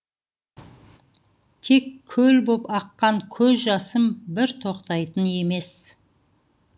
тек көл боп аққан көз жасым бір тоқтайтын емес